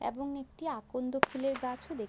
এবং একটি আকন্দ ফুলের গাছও দেখ--